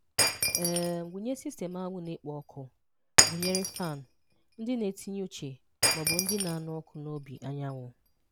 um Wụnye sistemu anwụ na-ekpo ọkụ, gụnyere fan, ndị na-etinye uche ma ọ bụ ndị na-anụ ọkụ n'obi anyanwụ.